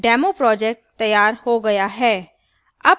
demoproject तैयार हो गया है